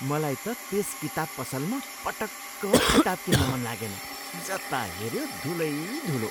मलाई त त्यस किताब पसलमा पटक्क किताब किन्न मन लागेन। जता हेऱ्यो धुलै धुलो!